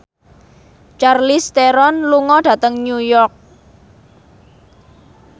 Charlize Theron lunga dhateng New York